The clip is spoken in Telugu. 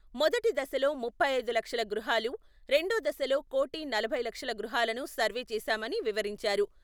మొదటి దశలో ముప్పై ఐదు లక్షల గృహాలు, రెండో దశలో కోటి నలభై లక్షల గృహాలను సర్వే చేశామని వివరించారు.